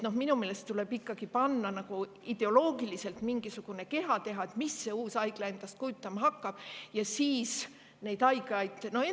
Minu meelest tuleb ikkagi teha ideoloogiliselt mingisugune, mis see uus haigla endast kujutama hakkab, ja siis need haiglad.